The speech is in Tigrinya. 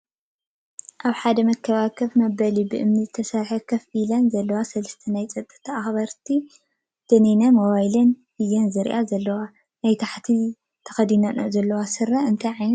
ኣብ ሓደ መካበቢያ ከፍ መበሊ ብእምኒ ዝተሰረሐሉ ከፍ ኢለን ዘለዎ ሰለስተ ናይ ፀጥታ ኣክበርቲ ዳኒነን ሞባይለብ እየን ዝርእያ ዘለዋ። ናይ ታሕቲ ተከዲነነኦ ዘለዋ ስረ እንታይ ዓይነት ሕብሪ እዩ?